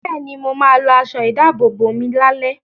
Bẹ́ẹ̀ni, mo ma lọ aṣọ ìdábòbò mi lálẹ́